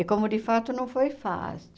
E como de fato não foi fácil.